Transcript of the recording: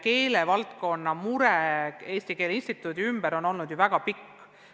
Keelevaldkonna esindajate mure Eesti Keele Instituudi pärast on ju väga kaua kestnud.